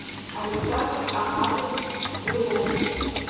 александр ахатович белов